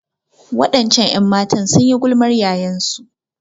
Waɗancan 'yanmatan sun yi gulmar yayansu.